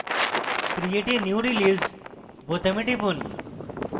create a new release বোতামে টিপুন